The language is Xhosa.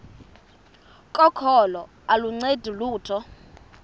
kokholo aluncedi lutho